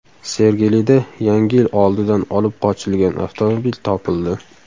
Sergelida Yangi yil oldidan olib qochilgan avtomobil topildi.